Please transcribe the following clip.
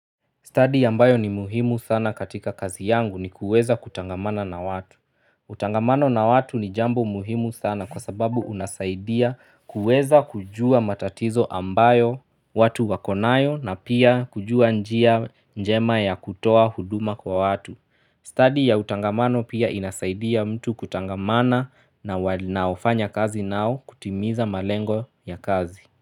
Study ambayo ni muhimu sana katika kazi yangu ni kuweza kutangamana na watu. Utangamano na watu ni jambo muhimu sana kwa sababu unasaidia kuweza kujua matatizo ambayo watu wakonayo na pia kujua njia njema ya kutoa huduma kwa watu. Study ya utangamano pia inasaidia mtu kutangamana na wanaofanya kazi nao kutimiza malengo ya kazi.